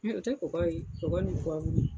o tɛ kɔgɔ ye kɔgɔ ni